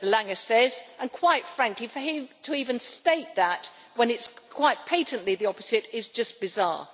Lange says, and quite frankly for him to even state that when it is quite patently the opposite is just bizarre.